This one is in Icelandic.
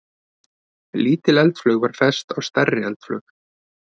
Lítil eldflaug var fest á stærri eldflaug.